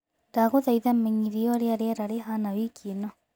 ndagũthaĩtha menyithia ũrĩa rĩera rĩhana wĩkĩ ino